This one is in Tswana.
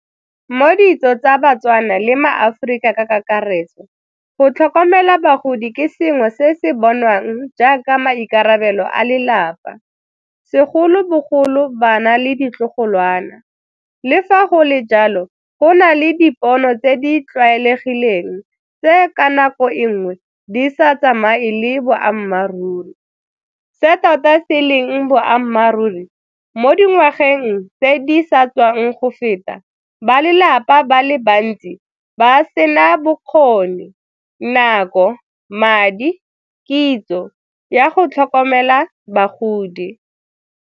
Mo ditso tsa baTswana le ma-Aforika ka kakaretso. Go tlhokomela bagodi ke sengwe se se bonwang jaaka maikarabelo a lelapa, segolobogolo bana le ditlogolwana. Le fa go le jalo, go na le dipono tse di tlwaelegileng tse ka nako e nngwe di sa tsamaye le boammaaruri, se tota se leng boammaaruri mo dingwageng tse di sa tswang go feta, ba lelapa ba le bantsi ba sena bokgoni, nako, madi, kitso ya go tlhokomela bagodi.